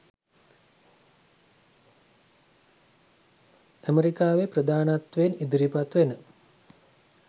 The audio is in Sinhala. ඇමරිකාවේ ප්‍රධානත්වයෙන් ඉදිරිපත් වෙන